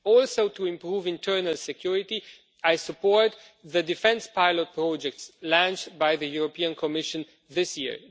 Also, to improve internal security, I support the defence pilot projects launched by the European Commission this year.